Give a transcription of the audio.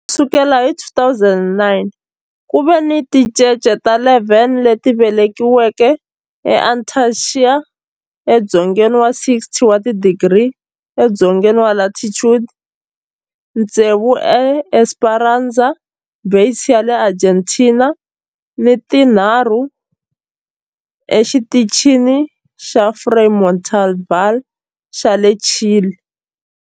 Ku sukela hi 2009, ku ve ni tincece ta 11 leti velekiweke eAntarctica, edzongeni wa 60 wa tidigri edzongeni wa latitude, tsevu eEsperanza Base ya le Argentina ni tinharhu eXitichini xa Frei Montalva xa le Chile.